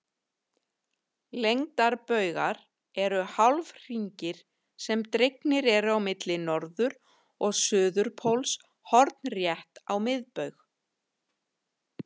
Lengdarbaugar eru hálfhringir sem dregnir eru á milli norður- og suðurpóls hornrétt á miðbaug.